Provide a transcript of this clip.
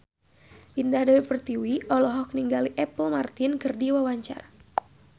Indah Dewi Pertiwi olohok ningali Apple Martin keur diwawancara